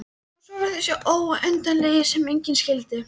Og svo var það þessi óendanleiki sem enginn skildi.